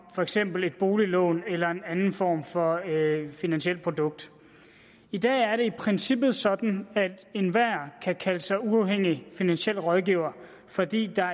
for eksempel et boliglån eller en anden form for finansielt produkt i dag er det i princippet sådan at enhver kan kalde sig uafhængig finansiel rådgiver fordi der